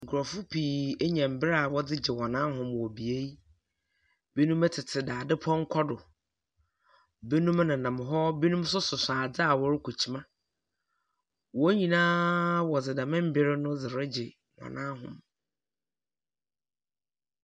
Nkorɔfo pii enya mber a wɔdze gye wɔn ahome wɔ bea yi. Binom tsetse dadze pɔnkɔ do. Binom menam hɔ. Binom nso soso adze a wɔdze rekɔ akyima. Wɔn nyinaa wɔdze dɛm mber no regye wɔn ahome.